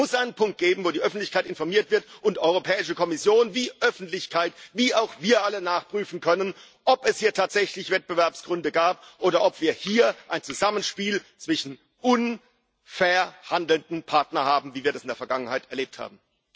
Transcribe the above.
Es muss einen Punkt geben, wo die Öffentlichkeit informiert wird und Europäische Kommission wie Öffentlichkeit wie auch wir alle nachprüfen können, ob es hier tatsächlich Wettbewerbsgründe gab oder ob wir hier ein Zusammenspiel zwischen unfair handelnden Partnern haben, wie wir das in der Vergangenheit erlebt haben.